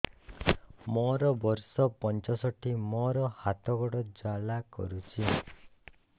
ମୋର ବର୍ଷ ପଞ୍ଚଷଠି ମୋର ହାତ ଗୋଡ଼ ଜାଲା କରୁଛି